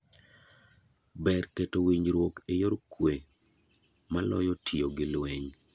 Ber keto winjuok e yor kwe maloyo tiyo gi lweny.